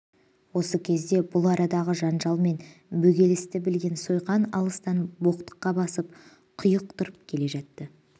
осы кезде бұл арадағы жанжал мен бөгелісті білген сойқан алыстан боқтыққа басып құйықтырып келе жатты